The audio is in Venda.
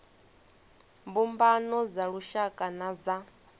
mbumbano dza lushaka na dza